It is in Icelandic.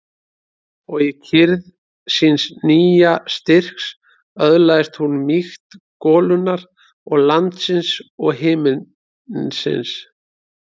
Og í kyrrð síns nýja styrks öðlaðist hún mýkt golunnar og landsins og himinsins.